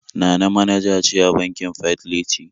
Nana manaja ce a bankin Fidelity